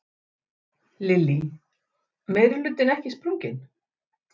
Lillý: Meirihlutinn ekki sprunginn?